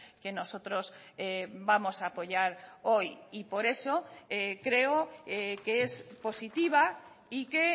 que nosotros vamos a apoyar hoy y por eso creo que es positiva y que